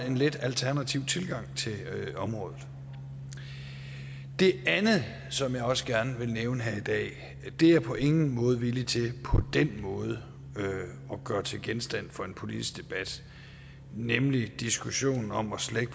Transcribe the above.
en lidt alternativ tilgang til området det andet som jeg også gerne vil nævne her i dag er jeg på ingen måde villig til på den måde at gøre til genstand for en politisk debat nemlig diskussionen om at slække